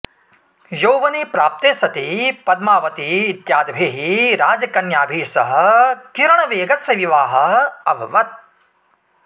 यौवने प्राप्ते सति पद्मावती इत्यादिभिः राजकन्याभिः सह किरणवेगस्य विवाहः अभवत्